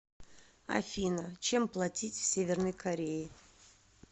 афина чем платить в северной корее